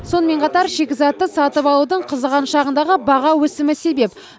сонымен қатар шикізатты сатып алудың қызыған шағындағы баға өсімі себеп